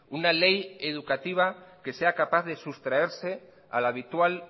una ley educativa que sea capaz de sustraerse al habitual